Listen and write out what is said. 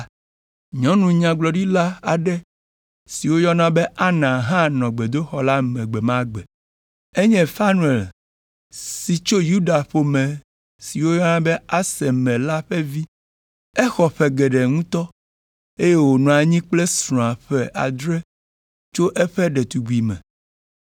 Nyɔnu nyagblɔɖila aɖe si woyɔna be Ana hã nɔ gbedoxɔ la me gbe ma gbe. Enye Fanuel si tso Yuda ƒe ƒome si woyɔna be Aser me la ƒe vi. Exɔ ƒe geɖe ŋutɔ, eye wònɔ anyi kple srɔ̃a ƒe adre tso eƒe ɖetugbime,